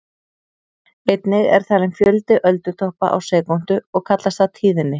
Einnig er talinn fjöldi öldutoppa á sekúndu og kallast það tíðni.